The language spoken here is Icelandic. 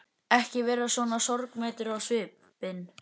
Ekki vera svona sorgmæddur á svipinn.